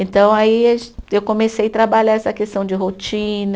Então, aí eu comecei a trabalhar essa questão de rotina.